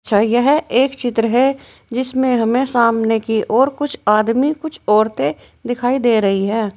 गया है एक चित्र है जिसमें हमें सामने की और कुछ आदमी कुछ औरतें दिखाई दे रही हैं।